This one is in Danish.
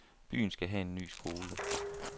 Byen skal have en ny skole.